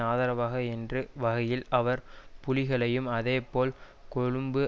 ஆதரவாக என்று வகையில் அவர் புலிகளையும் அதே போல் கொழும்பு